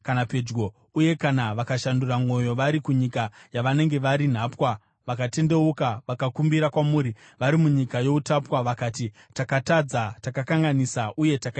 uye kana vakashandura mwoyo vari kunyika yavanenge vari nhapwa, vakatendeuka vakakumbira kwamuri vari munyika youtapwa vakati, ‘Takatadza, takakanganisa uye takaita zvakaipa,’